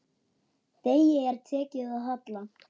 Degi er tekið að halla.